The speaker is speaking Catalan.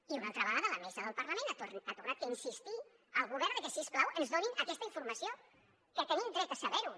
i una altra vegada la mesa del parlament ha tornat a insistir al govern de que si us plau ens donin aquesta informació que tenim dret a saber ho